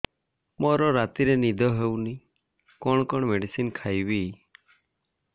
ମୋର ରାତିରେ ନିଦ ହଉନି କଣ କଣ ମେଡିସିନ ଖାଇବି